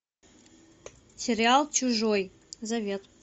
сериал чужой завет